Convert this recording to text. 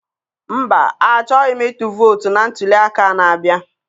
Mba, achọghị m ịtụ vootu na ntụliaka a na-abịa.